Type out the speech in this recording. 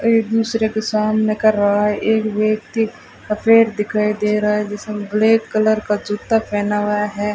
एक दूसरे के सामने कर रहा है एक व्यक्ति सफेद दिखाई दे रहा है जिसने ब्लैक कलर का जूता पहना हुआ है।